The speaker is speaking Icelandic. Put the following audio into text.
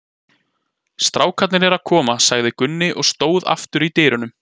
Strákarnir eru að koma, sagði Gunni og stóð aftur í dyrunum.